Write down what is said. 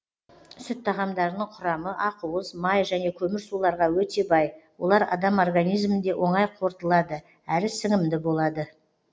сүт тағамдарының құрамы ақуыз май және көмірсуларға өте бай олар адам организмінде оңай қорытылады әрі сіңімді болады